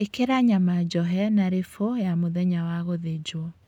Ĩkĩra nyama njohe na lĩbo ya mũthenya wa gũthĩnjwo